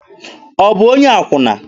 Ọ bụ onye akwụna?